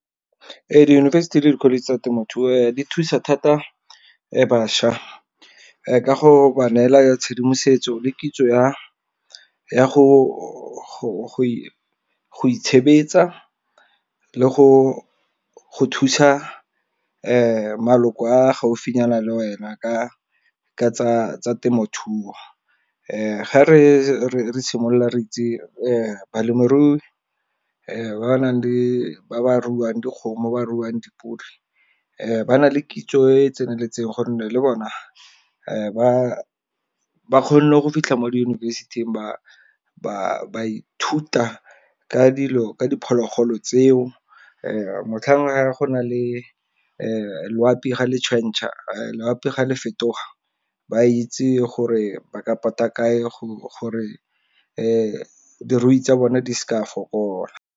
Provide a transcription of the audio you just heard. Diyunibesithi le di-college tsa temothuo di thusa thata bašwa ka go ba neela ya tshedimosetso le kitso ya go itshebetsa le go thusa maloko a gaufinyana le wena. Ka tsa temothuo. Ga re simolola re itse balemirui ba ba ruang dikgomo, ba ruang dipudi, ba na le kitso e e tseneletseng. Gonne le bone ba kgone go fitlha mo diyunibesithing ba ithuta ka dilo, ka diphologolo tseo motlhang go nang le loapi ga le fetoga ba itse gore ba ka pota kae gore dirui tsa bone di se ka fokola.